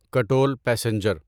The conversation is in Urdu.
کٹول پیسنجر